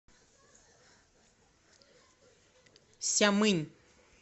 сямынь